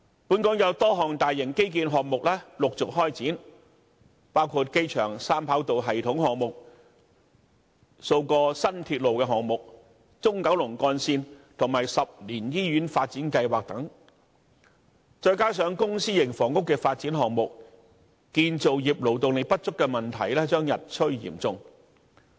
本港有多項大型基建項目陸續開展，包括機場三跑道系統項目、數個新鐵路項目、中九龍幹線，以及10年醫院發展計劃等，再加上公私營房屋的發展項目，建造業勞動力不足的問題將日趨嚴重。